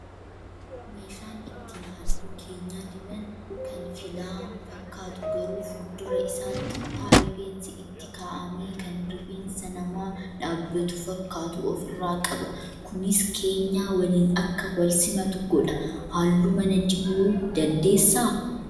Meeshaan ittiin halluu keenyaa diban kan filaa fakkaatu garuu fuuldura isaatti kutaa rifeensi itti kaa'amee kan rifeensa namaa dhaabbatu fakkaatu ofirraa qaba. Kunis keenyaa waliin akka wal simatu godha. Halluu mana dibuu dandeessaa?